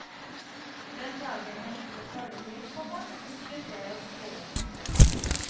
Den dagen jeg ikke får det til, komma slutter jeg å skrive. punktum